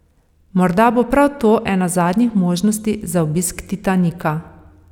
Morda bo prav to ena zadnjih možnosti za obisk Titanika.